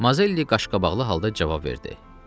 Mazelli qaşqabaqlı halda cavab verdi.